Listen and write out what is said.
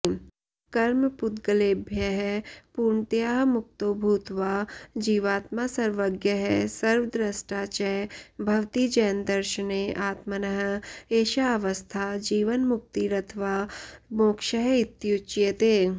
कर्मपुद्ग्लेभ्यःपूर्णतया मुक्तो भूत्वा जीवात्मा सर्वज्ञः सर्वद्र्ष्टा च भवति जैनदर्शने आत्मनः एषाऽवस्था जीवन्मुक्तिरथवा मोक्ष इत्युच्यते